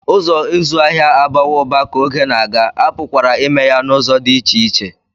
Ụzọ ịzụ ahịa abawo uba ka oge na-aga, a pụkwara ime ya n'ụzọ dị iche iche